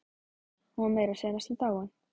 Hún var meira að segja næstum dáin.